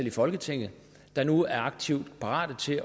i folketinget der nu er aktivt parat til